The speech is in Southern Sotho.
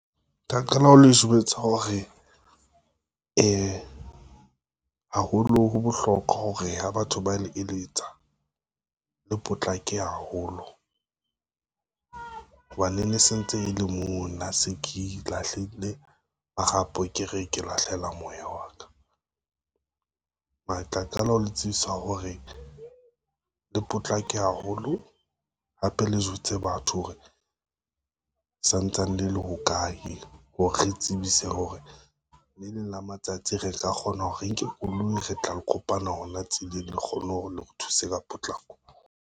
Nka qala ho le jwetsa hore, haholo ho bohlokwa hore ha batho ba le eletsa, le potlake haholo ho ba e ne sentse e le moo nna se ke lahlile marapo ke re ke lahlela moya wa ka. Mara tla qala ho le tsebisa hore le potlake haholo, hape le jwetse batho hore santsane le le ho kae, hore re tsebise hore le leng la matsatsi re ka kgona hore re nke koloi re tla le kopana hona tseleng, le kgone hore le re thuse ka potlako.